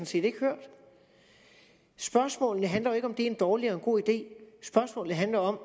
set ikke hørt spørgsmålet handler jo ikke om om det er en dårlig eller en god idé spørgsmålet handler om